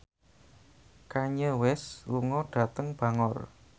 Kanye West lunga dhateng Bangor